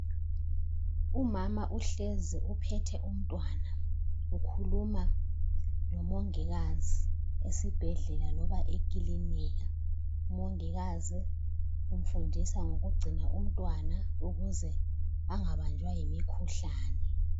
Umama uhlezi uphethe umntwana ukhuluma lomongikazi esibhedlela loba ekilinika. Umongikazi ufundisa ngokugcina umntwana ukuze angabanjwa yimikhuhlane.